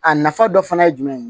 A nafa dɔ fana ye jumɛn ye